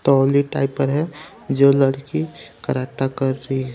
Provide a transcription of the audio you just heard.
है जो लड़की कराटा कर रही है.